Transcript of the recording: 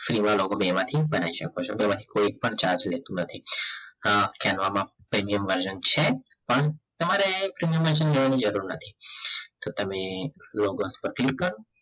free મા logo બનાવી શકો છો બેમાંથી કોઈ એક પણ charge લેતું નથી માં છે canva માં premium version છો પણ તમારે premium version લેવાની જરૂર નથી તો તમે કરો